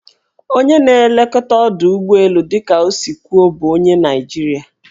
Onye na-elekọta ọdọụgbọelu dịka o si kwuo bụ onye Naijiria.